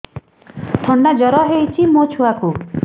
ଥଣ୍ଡା ଜର ହେଇଚି ମୋ ଛୁଆକୁ